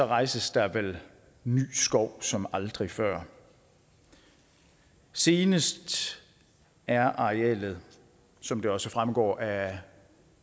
rejses der vel ny skov som aldrig før senest er arealet som det også fremgår af